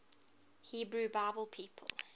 hebrew bible people